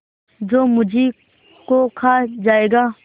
जो मुझी को खा जायगा